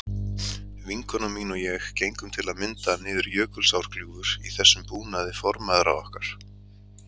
Vinkona mín og ég gengum til að mynda niður Jökulsárgljúfur í þessum búnaði formæðra okkar.